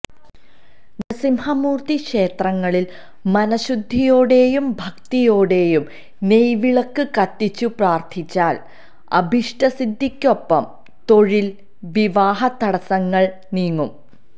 നരസിംഹമൂർത്തി ക്ഷേത്രങ്ങളിൽ മനഃശുദ്ധിയോടെയും ഭക്തിയോടെയും നെയ്വിളക്ക് കത്തിച്ചു പ്രാർഥിച്ചാൽ അഭിഷ്ടസിദ്ധിക്കൊപ്പം തൊഴിൽ വിവാഹ തടസ്സങ്ങൾ നീങ്ങും